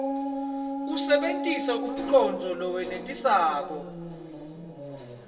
usebentise umcondvo lowenetisako